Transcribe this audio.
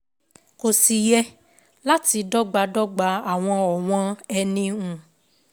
Kò sí yẹ láti dọ́gbadọ́gba àwọn ọ̀wọ́n eni um